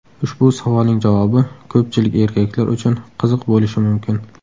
Ushbu savolning javobi ko‘pchilik erkaklar uchun qiziq bo‘lishi mumkin.